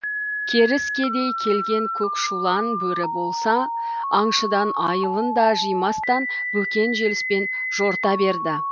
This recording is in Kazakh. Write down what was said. керіскедей келген көкшулан бөрі болса аңшыдан айылын да жимастан бөкен желіспен жорта берді